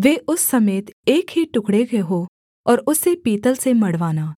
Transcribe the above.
वे उस समेत एक ही टुकड़े के हों और उसे पीतल से मढ़वाना